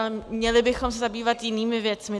A měli bychom se zabývat jinými věcmi.